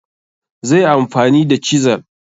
zaiyi amfani da chisel